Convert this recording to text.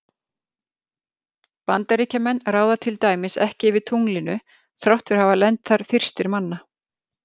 Bandaríkjamenn ráða til dæmis ekki yfir tunglinu þrátt fyrir að hafa lent þar fyrstir manna.